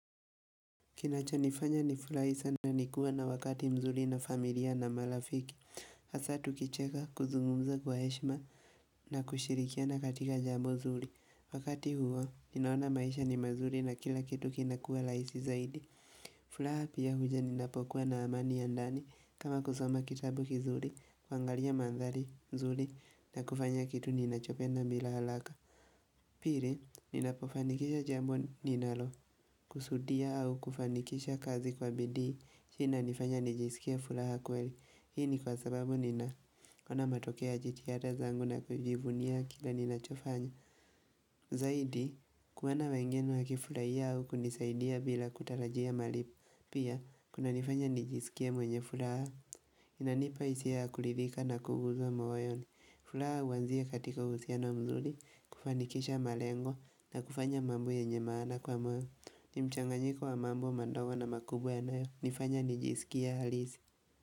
Kinacho nifanya ni furahi sana nikuwa na wakati mzuri na familia na marafiki. Hasa tukicheka kuzungumza kwa heshima na kushirikia na katika jambo zuri Wakati huo, ninaona maisha ni mazuri na kila kitu kinakua laisi zaidi. Fulaha pia huja ninapokuwa na amani ya ndani kama kusoma kitabu kizuri, kwangalia mandhari, mzuri, na kufanya kitu ninachopenda bila halaka. Piri, ninapofanikisha jambu ninalo, kusudia au kufanikisha kazi kwa bidi, hii inanifanya nijisikie fulaha kuweli, hii ni kwa sababu nina kona matokea GTR zangu na kujivunia kila nina chofanya. Zaidi, kuenda wengine hakifulai au kunisaidia bila kutarajia malipo, pia kuna nifanya nijisikie mwenye fulaha, inanipa isi ya kulirika na kuguzwa mwoyoni. Fulaha huanzia katika uhusiano mzuri kufandikisha malengo na kufanya mambo yenye maana kwa mwe ni mchanganyiko wa mambu wa mandogo na makubwa ya nayo nifanya nijisikia halizi.